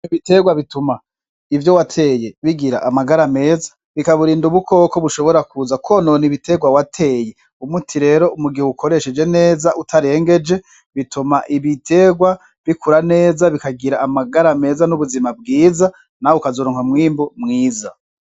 Ibiterwa bituma ivyo wateye bigira amagara ameza bikaburinda ubukoko bushobora kuza konone ibiterwa wateye umuti rero umugihe ukoresheje neza utarengeje bituma ibiterwa bikura neza bikagira amagara ameza n'ubuzima bwiza nawe ukazorankwa mwimbu mwiza.